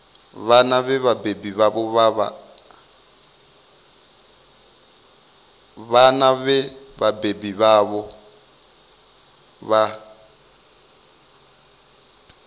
vhana vhe vhabebi vhavho vha